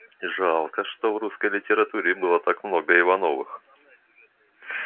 жалко что в русской литературе было так много ивановых